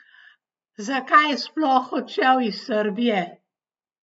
Zakaj je sploh odšel iz Srbije?